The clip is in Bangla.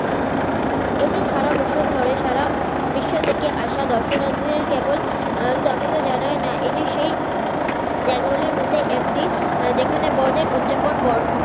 এটি সারা বছর ধরে বাইরে সারা বিশ্ব থেকে আসা দর্শনার্থি দের কেবল আহ স্বাগত জানায় না এটি সেই জায়গাগুলির মধ্যে একটি যেখানে এর উদযাপন ব~